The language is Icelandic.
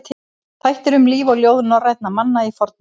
Þættir um líf og ljóð norrænna manna í fornöld.